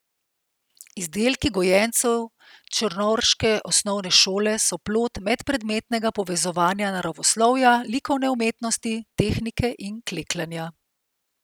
Izdelki gojencev črnovrške osnovne šole so plod medpredmetnega povezovanja naravoslovja, likovne umetnosti, tehnike in klekljanja.